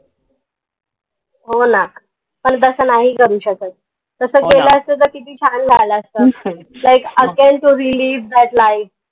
हो ना पन तस नाही करू शकत असत त किती छान झालं असत likeagain torelivethatlife